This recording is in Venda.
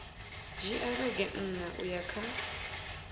dzhia vhege nṋa uya kha